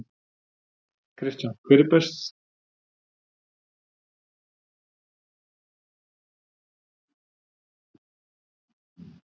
Kristján: Hver er helsti ávinningur fyrir Dalvíkinga?